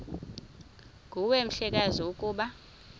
nguwe mhlekazi ukuba